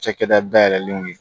Cakɛda dayɛlɛlenw ye